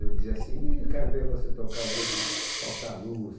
Eu dizia assim, ih, quero ver você tocar o dia que faltar luz.